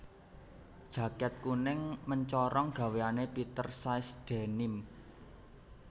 Jaket kuning mencorong gaweane Peter Says Denim